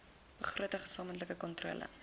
begroting gesamentlike kontrole